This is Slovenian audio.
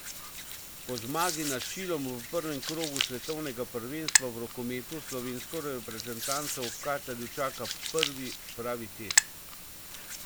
Po zmagi nad Čilom v prvem krogu svetovnega prvenstva v rokometu slovensko reprezentanco v Katarju čaka prvi pravi test.